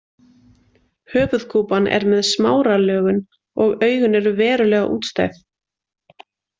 Höfuðkúpan er með smáralögun og augun eru verulega útstæð.